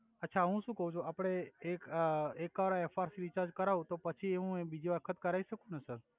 અછા હુ સુ કવ છુ આપડે એ એક વાર એફઆર પી રિચર્જ કરાવુ તો પછી એ હુ બિજી વખત કરાઇ સકુ ને સર